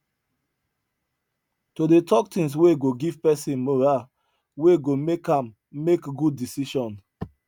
to dey talk things wey go give person moral wey go make am make good decision